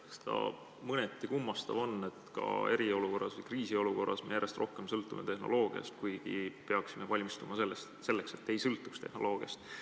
Eks ta mõneti kummastav on, et ka eriolukorras, kriisiolukorras me järjest rohkem sõltume tehnoloogiast, kuigi peaksime valmistuma selleks, et ei sõltuks tehnoloogiast.